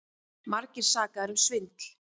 Margir sakaðir um svindl